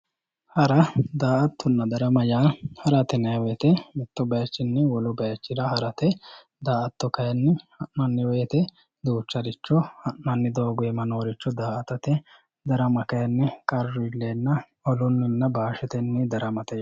Hara, da"aattonna darama yaa harate yinnanni woyte mitu bayichinni wole bayichira harate, da"aatto kayinni ha'nanni woyte duucharicho ha'nanni doogo iima noore da"aattate ,darama kayinni qarru iillenna olunninna bashetenni daramate.